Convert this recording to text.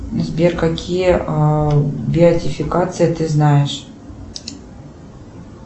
сбер какие беатификации ты знаешь